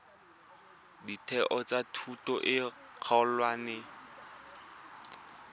ditheo tsa thuto e kgolwane